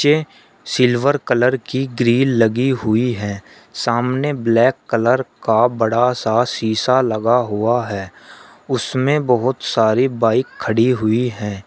ये silver colour की grill लगी हुई है सामने ब्लैक कलर का बड़ा सा शिशा लगा हुआ है उसमें बहुत सारी बाइक खड़ी हुई हैं।